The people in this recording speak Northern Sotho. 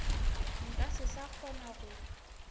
nka se sa kgona go